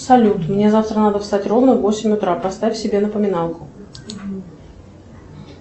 салют мне завтра надо встать ровно в восемь утра поставь себе напоминалку